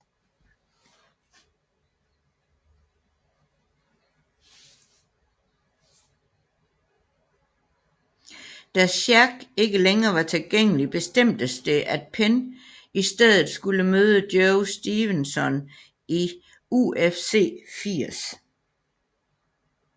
Da Sherk ikke længere var tilgængelig bestemtes det at Penn i stedet skulle møde Joe Stevenson i UFC 80